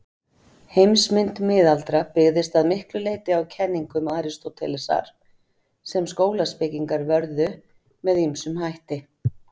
Heimsmynd miðalda byggðist að miklu leyti á kenningum Aristótelesar, sem skólaspekingar vörðu með ýmsum hætti.